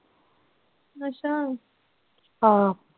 ਅੱਛਾ ਹਾਂ।